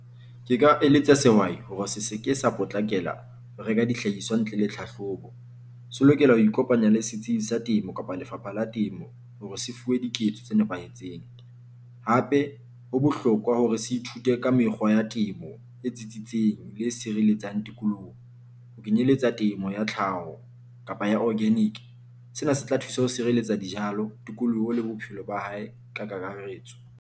Ke ka eletsa sehwai hore se seke sa potlakela ho reka dihlahiswa ntle le tlhahlobo. Se lokela ho ikopanya le setsibi sa temo kapa lefapha la temo hore se fuwe diketso tse nepahetseng. Hape ho bohlokwa hore se ithute ka mekgwa ya temo e tsitsitseng le e sireletsang tikolohong. Ho kenyeletsa temo ya tlhaho kapa ya organic sena se tla thusa ho sireletsa dijalo, tikoloho le bophelo ba hae ka kakaretso.